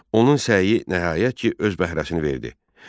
Onun səyi nəhayət ki, öz bəhrəsini verdi.